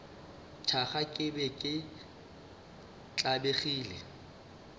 thaka ke be ke tlabegile